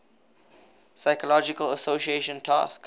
psychological association task